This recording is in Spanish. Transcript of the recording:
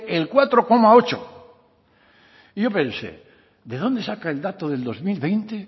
el cuatro coma ocho y yo pensé de dónde saca el dato del dos mil veinte